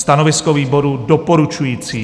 Stanovisko výboru: doporučující.